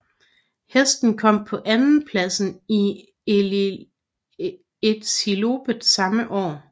Hesten kom på andenpladsen i Elitloppet samme år